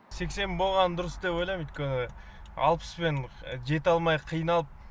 сексен болғаны дұрыс деп ойлаймын өйткені алпыспен жете алмай қиналып